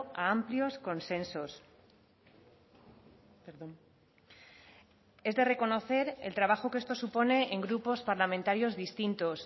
a amplios consensos es de reconocer el trabajo que esto supone en grupos parlamentarios distintos